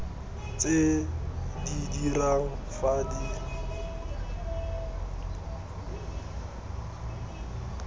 tse di dirang fa di